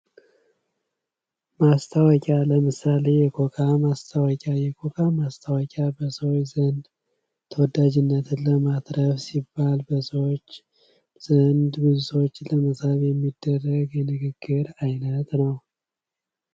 ማስታወቂያ ለምሳሌ የኮካ ማስታወቂያ የኮካ ማስታወቂያ በሰዎች ዘንድ ተወዳጅነት እና ብዙ ሰዎች ለመሳብ የሚደረግ የንግግር አይነት ነው።